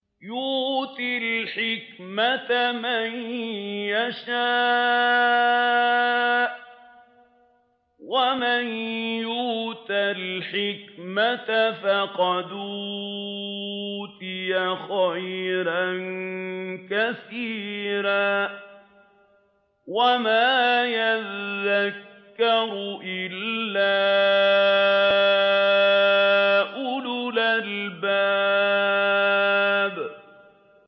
يُؤْتِي الْحِكْمَةَ مَن يَشَاءُ ۚ وَمَن يُؤْتَ الْحِكْمَةَ فَقَدْ أُوتِيَ خَيْرًا كَثِيرًا ۗ وَمَا يَذَّكَّرُ إِلَّا أُولُو الْأَلْبَابِ